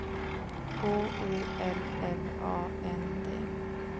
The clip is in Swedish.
H O L L A N D